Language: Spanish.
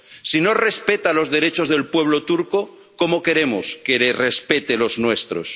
Si no respeta los derechos del pueblo turco, ¿cómo queremos que respete los nuestros?